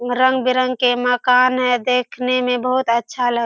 हीया रंग बिरंग के मकान है देखने में बहुत अच्छा लग --